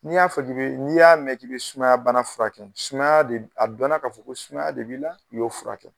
Ni y'a fɔ k'i be, n'i y'a mɛn k'i be sumaya bana furakɛ a dɔnna ka fɔ ko sumaya de b'i la, i y'o furakɛ.